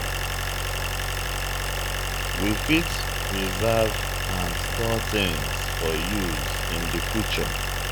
we fit preserve and store things for use in di future